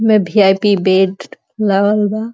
में VIP bed लागल बा।